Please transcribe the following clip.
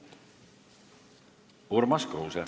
Urmas Kruuse.